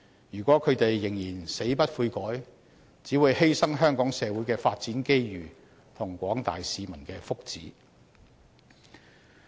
如果他們仍然死不悔改，只會犧牲香港社會的發展機遇和廣大市民的福祉。